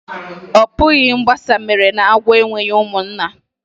Ọ bụ mgbasa mere na agwọ enweghị ụmụnna.